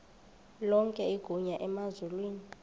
lonke igunya emazulwini